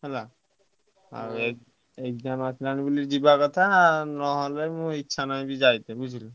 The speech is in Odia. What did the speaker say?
ହେଲା exam ଆସିଲାଣି ବୋଲି ଯିବା କଥା ନହେଲେ ମୋ ଇଛା ନାହିଁ ଯାଇତେ ବୁଝିଲୁ।